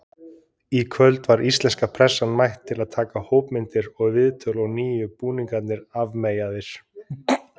Í kvöld var íslenska pressan mætt að taka hópmyndir og viðtöl og nýju búningarnir afmeyjaðir.